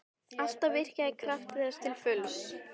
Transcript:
Alltaf virkjað krafta þess til fulls.